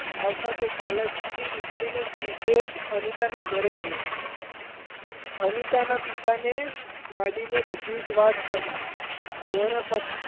આવતાં તે college થી નીકળીને સીધે જ અનિતાનાં ઘરે ગયો અનીતાનાં પિતાને માંડીને બધી જ વાત કહી તેઓ એ પછી,